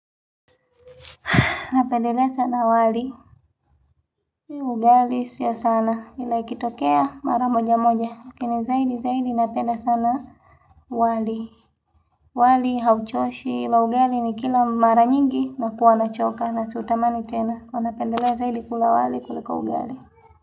Napendelea sana wali, ugali sio sana, ila ikitokea mara moja moja lakini zaidi zaidi napenda sana wali wali hauchoshi ila ugali ni kila mara nyingi na huwa nachoka na siutamani tena. Napendelea zaidi kula wali kuliko ugali.